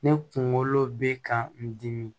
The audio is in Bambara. Ne kunkolo bɛ ka n dimi